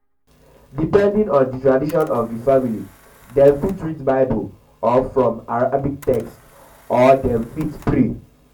depending on di tradition of di family dem fit read bible or from arabic text or dem text or dem fit pray